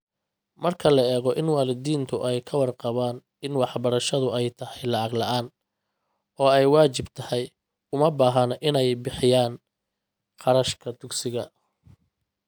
Marka la eego in waalidiintu ay ka warqabaan in waxbarashadu ay tahay lacag la'aan oo ay waajib tahay, uma baahna inay bixiyaan kharashka dugsiga,.